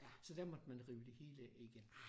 Så der måtte man rive det hele af igen